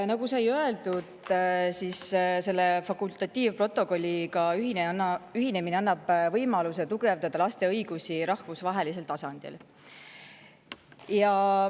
Nagu sai öeldud, selle fakultatiivprotokolliga ühinemine annab võimaluse tugevdada laste õigusi rahvusvahelisel tasandil.